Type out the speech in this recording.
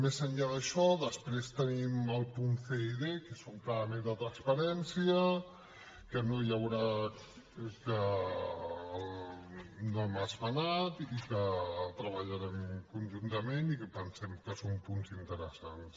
més enllà d’això després tenim els punts c i són clarament de transparència que no hem esmenat i que treballarem conjuntament i que pensem que són punts interessants